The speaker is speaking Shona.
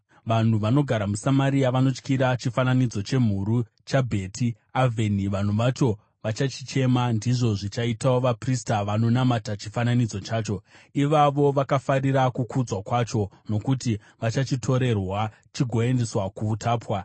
Vanhu vanogara muSamaria vanotyira chifananidzo chemhuru chaBheti Avheni. Vanhu vacho vachachichema, ndizvo zvichaitawo vaprista vanonamata chifananidzo chacho; ivavo vakafarira kukudzwa kwacho, nokuti vachachitorerwa chigoendeswa kuutapwa.